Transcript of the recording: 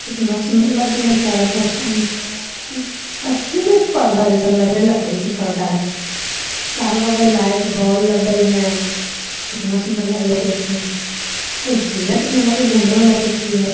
कितना सुंदर लगले चारों तरफ अ अथी मे पर्दा जेसन लगले लकड़ी के पर्दा हेय चारो बगल लाइट बोल लगल हेय कितना सुंदर लगले देखे मे कुर्सियां कितना लगे हो घूमें वाला कुर्सी हेय।